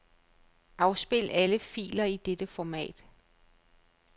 Afspil alle filer i dette format.